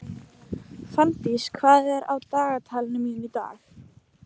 Fanndís, hvað er á dagatalinu mínu í dag?